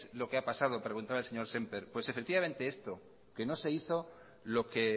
lo que ha pasado preguntaba el señor semper pues efectivamente esto que no se hizo lo que